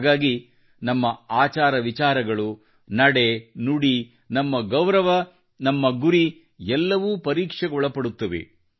ಹಾಗಾಗಿ ನಮ್ಮ ಆಚಾರ ವಿಚಾರಗಳು ಮತ್ತು ನಡೆ ನುಡಿ ನಮ್ಮ ಗೌರವ ನಮ್ಮ ಗುರಿ ಎಲ್ಲವೂ ಪರೀಕ್ಷೆಗೊಳಪಡುತ್ತವೆ